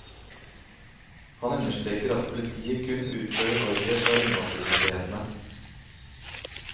Han understreker at politiet kun utfører ordre fra innvandrermyndighetene.